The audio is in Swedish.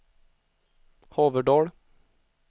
Haverdal